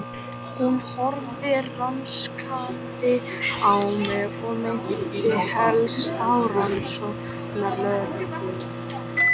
Hún horfði rannsakandi á mig og minnti helst á rannsóknarlögreglumann.